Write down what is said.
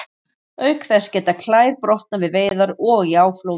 auk þess geta klær brotnað við veiðar og í áflogum